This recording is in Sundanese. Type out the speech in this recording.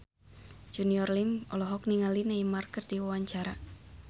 Junior Liem olohok ningali Neymar keur diwawancara